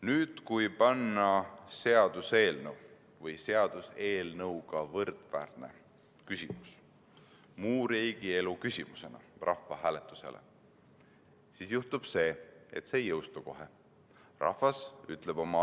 Nüüd, kui aga panna rahvahääletusele seaduseelnõu või seaduseelnõuga võrdväärne küsimus muu riigielu küsimusena, siis juhtub nii, et see ei saa kohe jõustuda.